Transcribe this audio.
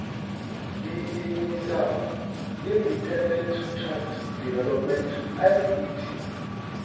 ḓiimisaho independent trust development idt